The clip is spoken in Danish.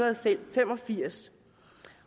fem og firs